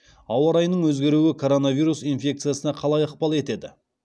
ауа райының өзгеруі коронавирус инфекциясына қалай ықпал етеді